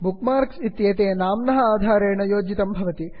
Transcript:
book marks इत्येते नाम्नः आधारेण योजितं भवति